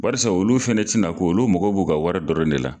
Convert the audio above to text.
Baarisa olu fɛnɛ ti na ko olu mago b'u ka wari dɔrɔn de la.